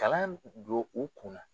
Kalan jo o kun na.